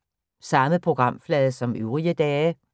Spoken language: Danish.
Samme programflade som øvrige dage